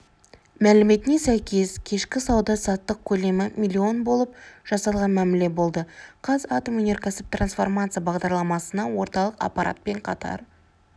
мәліметіне сәйкес кешкі сауда-саттық көлемі млн болып жасалған мәміле болды қазатомөнеркәсіп трансформация бағдарламасына орталық аппаратпен қатар